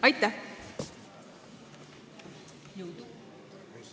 Aitäh!